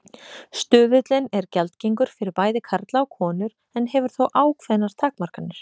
Stuðullinn er gjaldgengur fyrir bæði karla og konur en hefur þó ákveðnar takmarkanir.